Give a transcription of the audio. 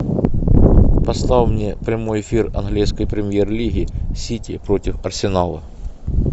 поставь мне прямой эфир английской премьер лиги сити против арсенала